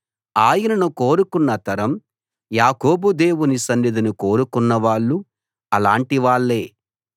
ఆయనను కోరుకున్న తరం యాకోబు దేవుని సన్నిధిని కోరుకున్నవాళ్ళు అలాంటివాళ్ళే సెలా